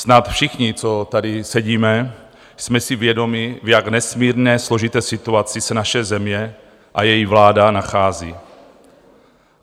Snad všichni, co tady sedíme, jsme si vědomi, v jak nesmírně složité situaci se naše země a její vláda nachází.